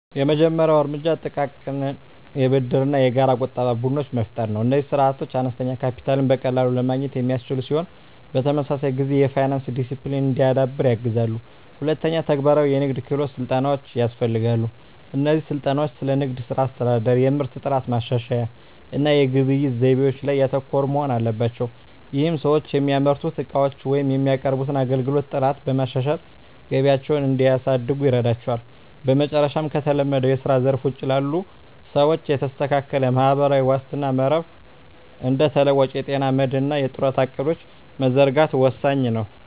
የመጀመሪያው እርምጃ ጥቃቅን የብድርና የጋራ ቁጠባ ቡድኖችን መፍጠር ነው። እነዚህ ስርዓቶች አነስተኛ ካፒታልን በቀላሉ ለማግኘት የሚያስችሉ ሲሆን፣ በተመሳሳይ ጊዜ የፋይናንስ ዲሲፕሊን እንዲዳብር ያግዛሉ። ሁለተኛ፣ ተግባራዊ የንግድ ክህሎት ስልጠናዎች ያስፈልጋሉ። እነዚህ ስልጠናዎች ስለ ንግድ ሥራ አስተዳደር፣ የምርት ጥራት ማሻሻያ እና የግብይት ዘይቤዎች ላይ ያተኮሩ መሆን አለባቸው። ይህም ሰዎች የሚያመርቱትን ዕቃዎች ወይም የሚያቀርቡትን አገልግሎት ጥራት በማሻሻል ገቢያቸውን እንዲያሳድጉ ይረዳቸዋል። በመጨረሻም፣ ከተለመደው የስራ ዘርፍ ውጪ ላሉ ሰዎች የተስተካከለ ማህበራዊ ዋስትና መረብ (እንደ ተለዋዋጭ የጤና መድህን እና የጡረታ ዕቅዶች) መዘርጋት ወሳኝ ነው።